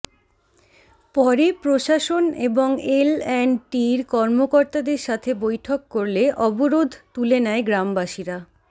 পরে প্রশাসন এবং এল এন্ড টির কর্মকর্তাদের সাথে বৈঠক করলে অবরোধ তুলে নেয় গ্রাম বাসীরা